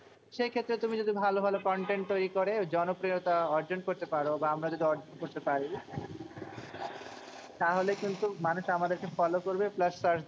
সেই ক্ষেত্রে তুমি যদি ভালো ভালো content তৈরী করে জনপ্রিয়তা অর্জন করতে পারো। বা আমরা যদি অর্জন করতে পারি, তাহলে কিন্তু মানুষ আমাদেরকে follow করবে plus search